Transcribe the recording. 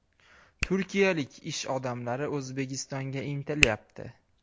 Turkiyalik ish odamlari O‘zbekistonga intilyapti.